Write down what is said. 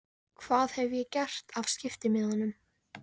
Hvað hef ég gert af skiptimiðanum?